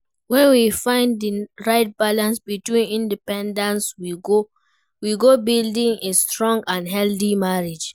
When we find di right balance between independence, we go build a strong and healthy marriage.